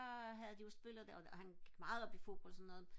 havde de jo spillet det og han gik meget op i fodbold og sådan noget